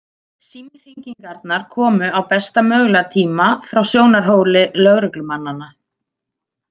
Símhringingarnar komu á besta mögulega tíma frá sjónarhóli lögreglumannanna.